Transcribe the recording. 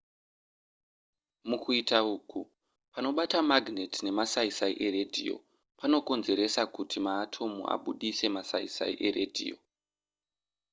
mukuita uku panobata magnet nemasaisai eradio panokonzeresa kuti maatomu abudise masaisai eradio